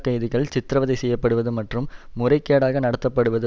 கைதிகள் சித்திரவதை செய்ய படுவது மற்றும் முறைகேடாக நடத்தப்படுவது